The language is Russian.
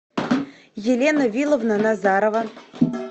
елена виловна назарова